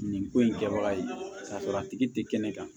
Nin ko in kɛbaga ye k'a sɔrɔ a tigi te kɛnɛ kan